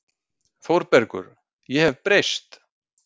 ÞÓRBERGUR: Ég hef breyst.